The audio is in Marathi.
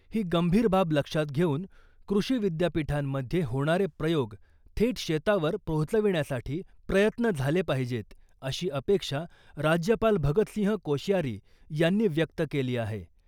ही गंभीर बाब लक्षात घेऊन कृषी विद्यापीठांमध्ये होणारे प्रयोग थेट शेतावर पोहोचविण्यासाठी प्रयत्न झाले पाहिजेत, अशी अपेक्षा राज्यपाल भगतसिंह कोश्यारी यांनी व्यक्त केली आहे